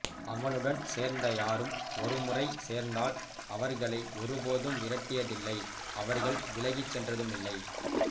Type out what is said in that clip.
அவனுடன் சேர்ந்த யாரும் ஒரு முறை சேர்ந்தால் அவர்களை ஒருபோது விரட்டியதில்லை அவர்கள் விலகிச் சென்றதுமில்லை